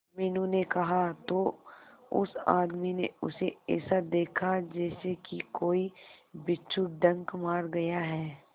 मीनू ने कहा तो उस आदमी ने उसे ऐसा देखा जैसे कि कोई बिच्छू डंक मार गया है